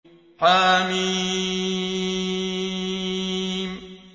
حم